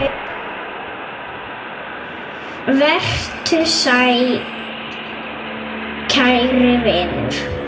Vertu sæll, kæri vinur.